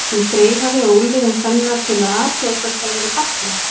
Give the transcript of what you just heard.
sem þreifaði á úlnliðum kvenna til að athuga hvort þær væru fallegar.